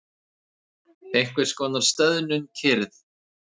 Einhverskonar stöðnuð kyrrð.